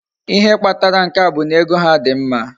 Ihe Kpatara nke a bu na ego ha di mma